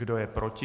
Kdo je proti?